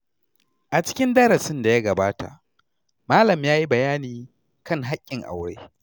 A cikin darasin da ya gabata, malam ya yi bayani kan hakkin aure.